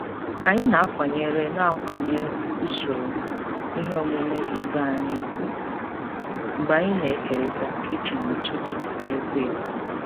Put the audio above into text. Anyị na-akwanyere na-akwanyere usoro ihe omume ibe anyị ùgwù mgbe anyị na-ekerịta kichin n'ụtụtụ na-ekwo ekwo.